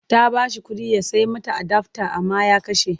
Ta ba shi kuɗi ya sai mata adafta amma ya kashe.